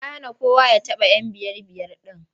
Ya hana kowa ya taɓa 'yan biyar-biyar ɗin.